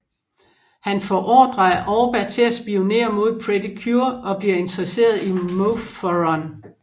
Han får ordre af Orba til at spionere mod Pretty Cure og bliver interesseret i Mofurun